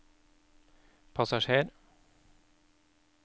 passasjer